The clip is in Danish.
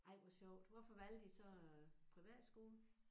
Ej hvor sjovt. Hvorfor valgte I så øh privatskolen?